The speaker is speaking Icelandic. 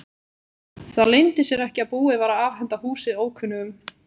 Það leyndi sér ekki að búið var að afhenda húsið ókunnugum.